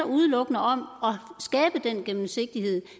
udelukkende om at skabe den gennemsigtighed